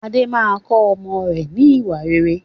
Adé máa kọ ọmọ rẹ ni ìwà rere.